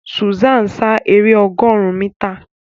Susan sá èrè ọgọrùn mítà.